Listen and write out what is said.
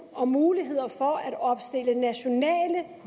om muligheder for at opstille nationale